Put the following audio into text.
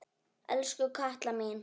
Elsku Katla mín.